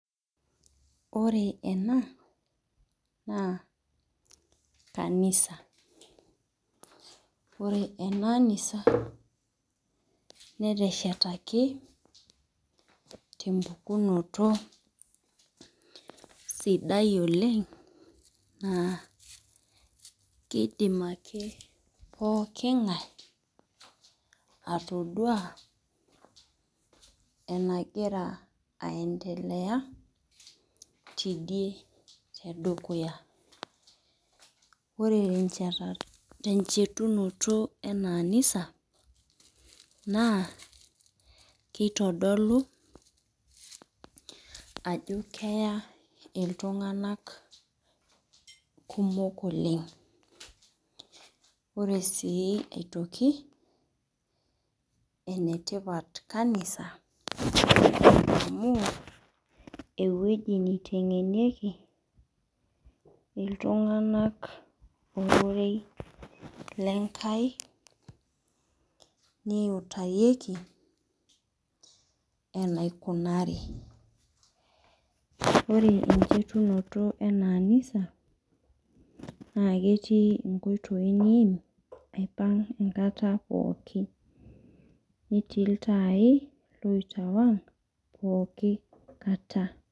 Ore ena naa kanisa ore ena anisa netshetaki tempukunoto sidai oleng' kiidim akepookin ng'ae atoduaa enegira aiendelea tidie tedukuya ore enchetunoto ena anisa naa kitodolu ajo keya iltung'abak oleng' ore sii aitoki entipata kanisa amu ewueji niteng'anieki iltung'anak ororei le Enkai neutayioki enaikunari ore enchetunoto ema anisa naa ketii nkoitoi naipang'ieki enkata pookin, netii iltaai oitoong' pooki kata.